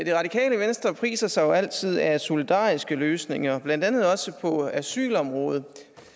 det radikale venstre priser sig jo altid af solidariske løsninger blandt andet også på asylområdet